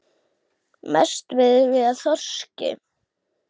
Mest veiðum við af þorski.